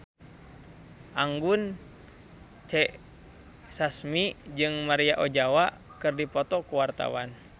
Anggun C. Sasmi jeung Maria Ozawa keur dipoto ku wartawan